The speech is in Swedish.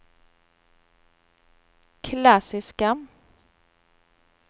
klassiska